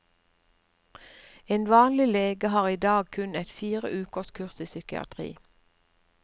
En vanlig lege har i dag kun et fire ukers kurs i psykiatri.